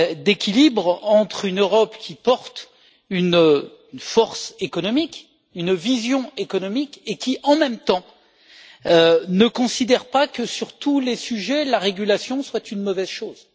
d'équilibre entre une Europe qui porte une force économique, une vision économique et qui en même temps, ne considère pas que sur tous les sujets, la régulation serait une mauvaise chose.